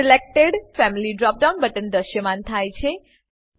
selected family drop down button દ્રશ્યમાન થાય છે